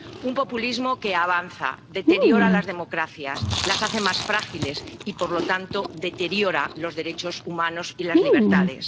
un populismo que avanza, deteriora las democracias, las hace más frágiles y, por lo tanto, deteriora los derechos humanos y las libertades.